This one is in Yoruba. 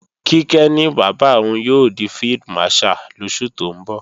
Kíkẹ́ ní bàbá òun yóò di Field Marshal lóṣù tó ń bọ̀